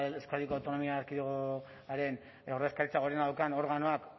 euskadiko autonomia erkidegoaren ordezkaritza gorena daukan organoak